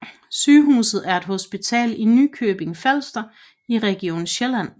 Sygehus er et hospital i Nykøbing Falster i Region Sjælland